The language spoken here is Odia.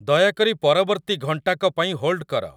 ଦୟାକରି ପରବର୍ତ୍ତୀ ଘଣ୍ଟାକ ପାଇଁ ହୋଲ୍ଡ କର